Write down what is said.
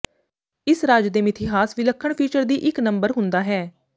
ਇਸ ਰਾਜ ਦੇ ਮਿਥਿਹਾਸ ਵਿਲੱਖਣ ਫੀਚਰ ਦੀ ਇੱਕ ਨੰਬਰ ਹੁੰਦਾ ਹੈ